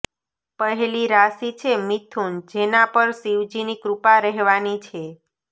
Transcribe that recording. પહેલી રાશી છે મિથુન જેના પર શિવજીની કૃપા રહેવાની છે